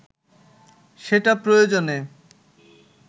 সেটা প্রয়োজনে